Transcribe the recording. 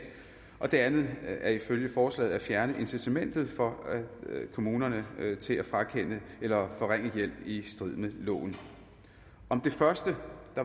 og det andet er ifølge forslaget at fjerne incitamentet for kommunerne til at frakende eller forringe hjælp i strid med loven om det første